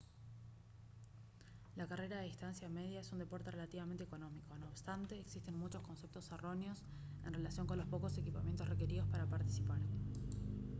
la carrera de distancia media es un deporte relativamente económico no obstante existen muchos conceptos erróneos en relación con los pocos equipamientos requeridos para participar